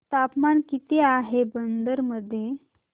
तापमान किती आहे बिदर मध्ये